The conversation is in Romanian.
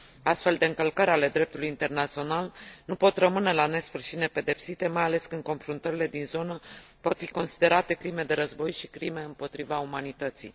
Astfel de încălcări ale dreptului internațional nu pot rămâne la nesfârșit nepedepsite, mai ales când confruntările din zonă pot fi considerate crime de război și crime împotriva umanității.